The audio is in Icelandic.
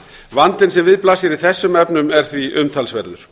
vandinn sem við blasir í þessum efnum er því umtalsverður